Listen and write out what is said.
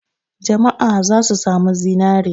Jama'a za su sami zinare.